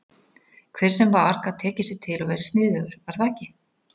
Hver sem var gat tekið sig til og verið sniðugur, var það ekki?